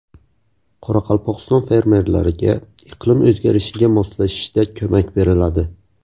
Qoraqalpog‘iston fermerlariga iqlim o‘zgarishiga moslashishda ko‘mak beriladi.